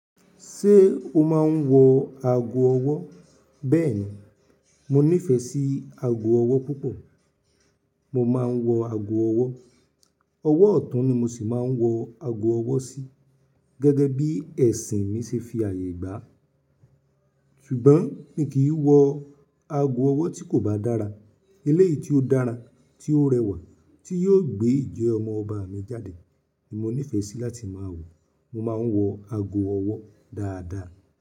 Ṣé o máa ń wọ ago ọwọ́? Bẹ́ẹ̀ni, mo nífẹ̀ẹ́ sí ago ọwọ́ púpọ̀. Mo máa ń wọ ago ọwọ́, ọwọ́ ọ̀tún ni mo sì máa ń wọ ago ọwọ́ sí gẹ́gẹ́ bí ẹ̀sìn mi ṣe fi ààyè gbà. Ṣùgbọ́n, mi kì í wọ ago ọwọ́ tí kò bá dára. Eléyìí tí ó dára, tí ó rẹwà, tí yóò gbé ìjẹ ọmọ ọba mi jáde ni mo nífẹ̀ẹ́ sí láti máa wọ. Mo máa ń wọ ago ọwọ́ dáadáa.